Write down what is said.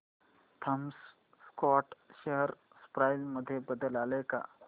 Thomas Scott share price मध्ये बदल आलाय का